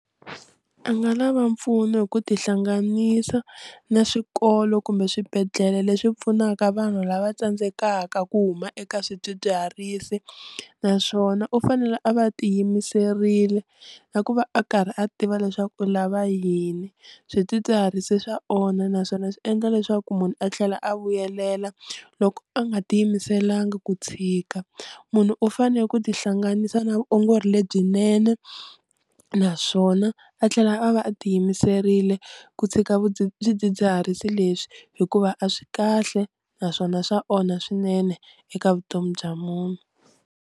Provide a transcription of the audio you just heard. A nga lava mpfuno hi ku tihlanganisa na swikolo kumbe swibedhlele leswi pfunaka vanhu lava tsandzekaka ku huma eka swidzidziharisi naswona u fanele a va ti yimiserile na ku va a karhi a tiva leswaku u lava yini, swidzidziharisi swa onha naswona swi endla leswaku munhu a tlhela a vuyelela loko a nga tiyimiselanga ku tshika, munhu u fanele ku tihlanganisa na vuongori lebyinene naswona a tlhela a va a ti yimiserile ku tshika vu swidzidziharisi leswi hikuva a swi kahle naswona swa onha swinene eka vutomi bya munhu.